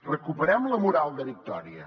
recuperem la moral de victòria